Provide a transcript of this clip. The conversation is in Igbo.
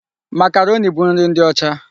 Makaroni bụ nri ndị ọcha.